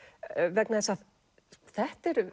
vegna þess að þetta eru